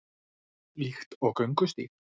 Líkt og göngustíg